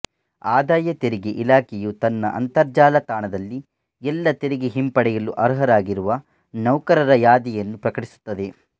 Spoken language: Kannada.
ಆದಾಯ ತೆರಿಗೆ ಇಲಖೆಯು ತನ್ನ ಅಂತರ್ಜಾಲ ತಾಣದಲ್ಲಿ ಎಲ್ಲ ತೆರಿಗೆ ಹಿಂಪಡೆಯಲು ಅರ್ಹರಾಗಿರುವ ನೌಕರರ ಯಾದಿಯನ್ನು ಪ್ರಕಟಿಸುತ್ತದೆ